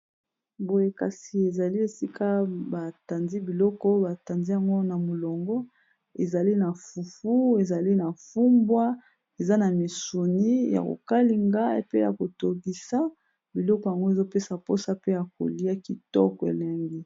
Boye kasi ezali esika batandi biloko batandi yango na molongo ezali na fufu ezali na fumbwa eza na misuni ya kokalinga pe ya kotokisa biloko yango ezopesa mposa pe ya kolia kitoko elengi.